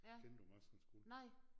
Ja nej